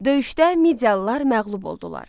Döyüşdə Midiyalılar məğlub oldular.